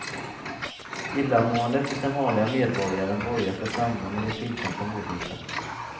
Illamåendet hos den vanliga medborgaren borgar för framgång i den tilltänkta målgruppen.